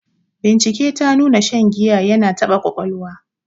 Bincike ta nuna shan giya ya na taba ƙwaƙwalwa.